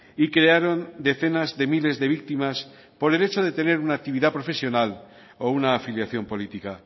y crearon decenas de miles de víctimas por el hecho de tener una actividad profesional o una afiliación política